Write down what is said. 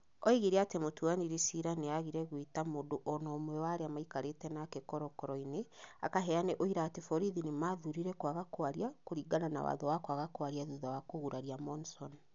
Oigire atĩ mũtuanĩri ciira nĩ aagire gweta mũndũ o na ũmwe wa arĩa maikarĩte nake korokoro-inĩ akaheane ũira atĩ borithi nĩ maathurire kwaga kwaria kũringana na watho wa kwaga kwaria thutha wa kũguraria Monson.